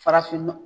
Farafin